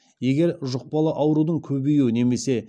егер жұқпалы аурудың көбеюі немесе